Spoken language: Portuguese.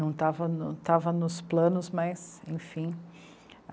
Não tava, não tava nos planos, mas enfim.